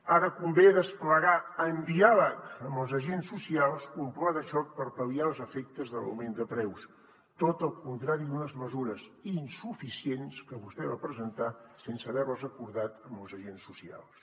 ara convé desplegar amb diàleg amb els agents socials un pla de xoc per pal·liar els efectes de l’augment de preus tot el contrari d’unes mesures insuficients que vostè va presentar sense haver les acordat amb els agents socials